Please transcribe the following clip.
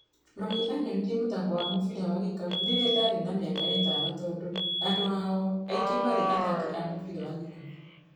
Mami anyonirie mũthako wa mũbira wa gĩkabũ rĩrĩa ndarĩ na miaka ĩtano tondũ andũ ao aingĩ marĩ athaki a mũbira wa gĩkabũ.